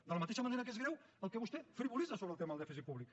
de la mateixa manera que és greu el que vostè frivolitza sobre el tema del dèficit públic